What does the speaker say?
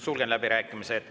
Sulgen läbirääkimised.